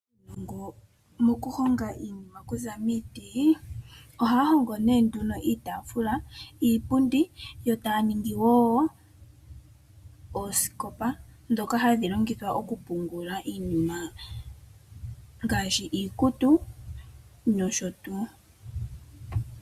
Mokuhonga iinima kuza miiti ohaya hongo nee nduno iitaafula, iipundi yo taya ningi wo oosikopa ndhoka hadhi longithwa okupungula iinima ngaashi iikutu nosho tuu.